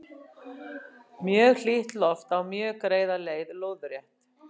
Mjög hlýtt loft á mjög greiða leið lóðrétt.